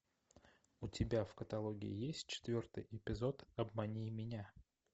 у тебя в каталоге есть четвертый эпизод обмани меня